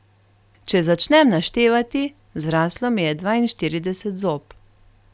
Če začnem naštevati, zraslo mi je dvainštirideset zob.